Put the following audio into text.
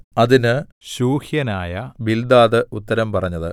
അതിന് ശൂഹ്യനായ ബിൽദാദ് ഉത്തരം പറഞ്ഞത്